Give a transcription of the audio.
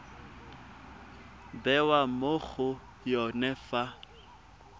bewa mo go yone fa